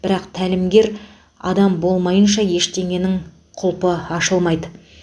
бірақ тәлімгер адам болмайынша ештеңенің құлпы ашылмайды